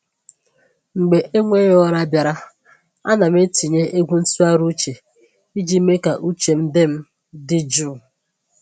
Mgbe enweghị ụra bịara, ana m etinye egwu ntụgharị uche iji mee ka uche m dị m dị jụụ.